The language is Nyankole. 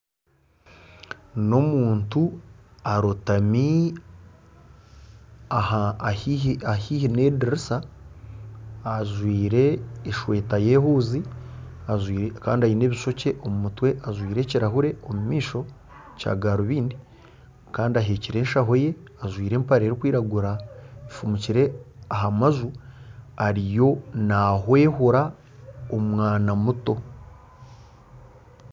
N'omuntu arotami ahaihi n'edirisa ajwaire esweeta y'ehuuzi kandi aine ebishookye omu mutwe ajwaire ekirahuure omu maisho kya garubindi kandi aheekire eshaho ye ajwaire empare erikwiragura efumukire aha majju ariyo nahwehura omwana muto.